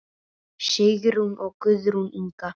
Sigrún og Guðrún Inga.